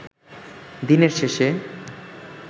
দিনের শেষে